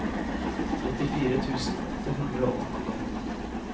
trettifire tusen åtte hundre og åttien